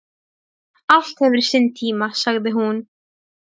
Allt hefur sinn tíma, sagði hún.